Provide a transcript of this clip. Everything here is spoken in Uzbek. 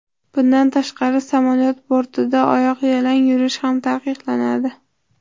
Bundan tashqari samolyot bortida oyoqyalang yurish ham taqiqlanadi.